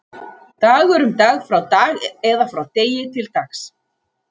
Dagur, um Dag, frá Dag eða frá Degi, til Dags.